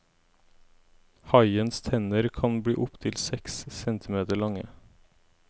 Haiens tenner kan bli opptil seks centimeter lange.